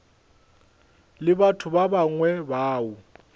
le batho ba bangwe bao